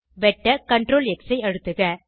வெட்ட CTRLX ஐ அழுத்துக